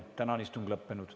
Tänane istung on lõppenud.